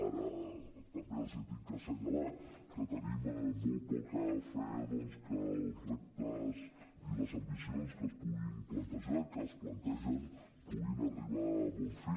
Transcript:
ara també els haig d’assenyalar que tenim molt poca fe que els reptes i les ambicions que es puguin plantejar i que es plantegen puguin arribar a bon fi